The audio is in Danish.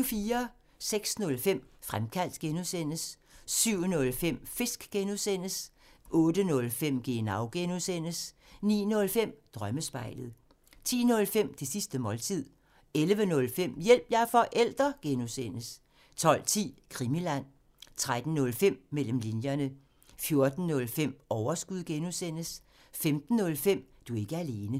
06:05: Fremkaldt (G) 07:05: Fisk (G) 08:05: Genau (G) 09:05: Drømmespejlet 10:05: Det sidste måltid 11:05: Hjælp – jeg er forælder! (G) 12:10: Krimiland 13:05: Mellem linjerne 14:05: Overskud (G) 15:05: Du er ikke alene